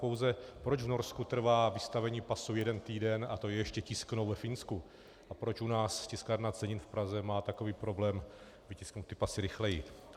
Pouze proč v Norsku trvá vystavení pasu jeden týden, a to je ještě tisknou ve Finsku, a proč u nás Tiskárna cenin v Praze má takový problém vytisknout ty pasy rychleji.